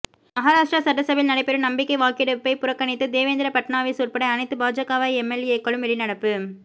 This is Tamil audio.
மகாராஷ்டிரா சட்டசபையில் நடைபெறும் நம்பிக்கை வாக்கெடுப்பை புறக்கணித்து தேவேந்திர பட்னாவிஸ் உட்பட அனைத்து பாஜக எம்எல்ஏக்களும் வெளிநடப்பு